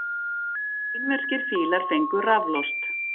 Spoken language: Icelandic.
Kínverskir fílar fengu raflost